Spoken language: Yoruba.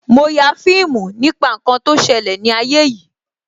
Mo ya fíìmù nípa ǹkan tó ṣẹlẹ̀ ni ayé yìí